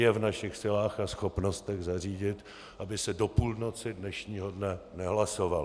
Je v našich silách a schopnostech zařídit, aby se do půlnoci dnešního dne nehlasovalo.